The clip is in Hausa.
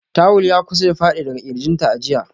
Tuwul ya kusa ya fadi daga kirginta a jiya.